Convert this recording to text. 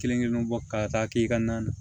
Kelen kelen bɔ ka taa i ka na na